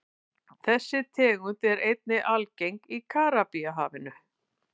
Þessi tegund er einnig algeng í Karíbahafi.